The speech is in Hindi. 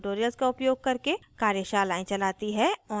spoken tutorials का उपयोग करके कार्यशालाएं चलाती है